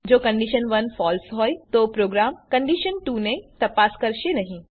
જો condition ૧ false હોય તો પ્રોગ્રામ કંડીશન ૨ ને તપાસ કરશે નહી